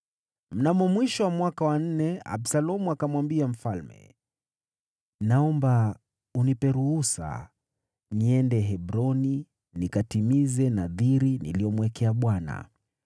Mnamo mwisho wa mwaka wa nne, Absalomu akamwambia mfalme, “Naomba unipe ruhusa niende Hebroni nikatimize nadhiri niliyomwekea Bwana .